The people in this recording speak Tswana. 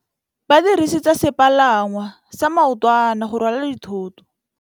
Ba dirisitse sepalangwasa maotwana go rwala dithôtô.